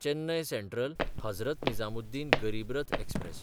चेन्नय सँट्रल–हजरत निजामुद्दीन गरीब रथ एक्सप्रॅस